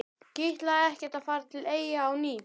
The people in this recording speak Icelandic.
Kitlaði ekkert að fara til Eyja á ný?